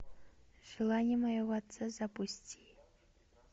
желание моего отца запусти